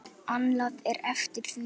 Annað er eftir því.